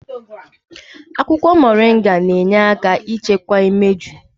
Akwụkwọ moringa na-enye aka ichekwa imeju.